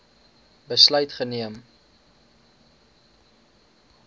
besluit geneem